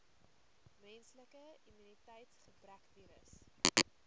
menslike immuniteitsgebrekvirus